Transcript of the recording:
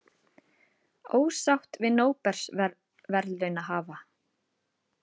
Ósátt við Nóbelsverðlaunahafa